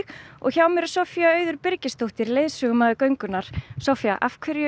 og hjá mér er Soffía Auður Birgisdóttir leiðsögumaður göngunnar Soffía af hverju